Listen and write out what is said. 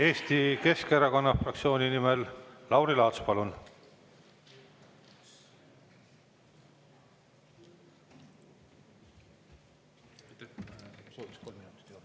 Eesti Keskerakonna fraktsiooni nimel Lauri Laats, palun!